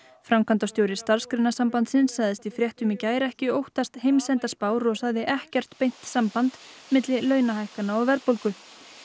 framkvæmdastjóri Starfsgreinasambandsins sagðist í fréttum í gær ekki óttast heimsendaspár og sagði ekkert beint samband milli launahækkana og verðbólgu